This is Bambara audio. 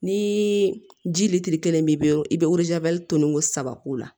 Ni ji lilitiri kelen b'i bolo i bɛ tonni ko saba k'o la